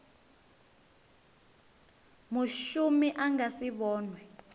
mushumi a nga si vhonwe